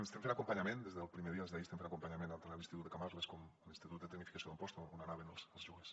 estem fent acompanyament des del primer dia des d’ahir estem fent acompanyament tant a l’institut de camarles com a l’institut de tecnificació d’amposta on anaven els joves